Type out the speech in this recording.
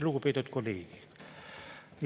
Lugupeetud kolleegid!